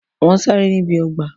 Wọ́n ṣeré níbi ọgbà